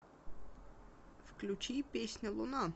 включи песня луна